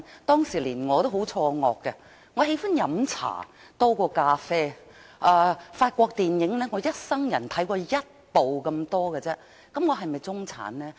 當時連我也很錯愕，我喜歡喝茶多於咖啡，而我一生人只看過一部法國電影而已，那麼我是否中產呢？